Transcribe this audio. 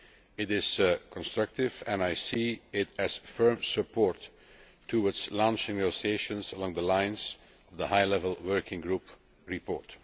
It is constructive, and I see it as firm support towards launching negotiations along the lines of the High Level Working Group report.